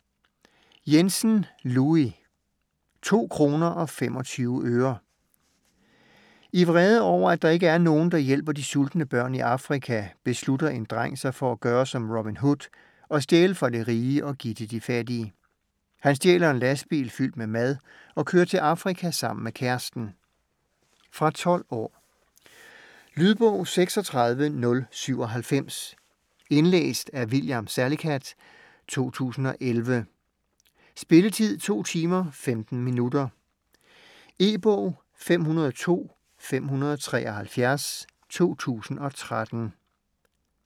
Jensen, Louis: 2 kroner og 25 øre I vrede over at der ikke er nogen, der hjælper de sultende børn i Afrika, beslutter en dreng sig for at gøre som Robin Hood og stjæle fra de rige og give til de fattige. Han stjæler en lastbil fyldt med mad og kører til Afrika sammen med kæresten. Fra 12 år. Lydbog 36097 Indlæst af William Salicath, 2011. Spilletid: 2 timer, 15 minutter. E-bog 502573 2013.